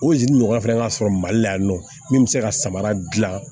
O ɲɔgɔnna fana ka sɔrɔ mali la yan nɔ min bɛ se ka samara dilan